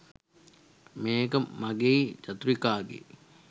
මේක මගෙයි චතුරිකාගෙයි